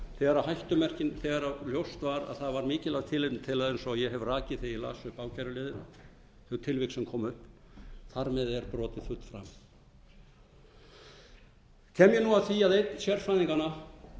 er formbrot þegar ljóst var að það var mikilvægt tilefni til eins og ég hef rakið þegar ég las upp ákæruliðina þau tilvik sem komu upp þar með er brotið fullframið kem ég nú að því að einn sérfræðinganna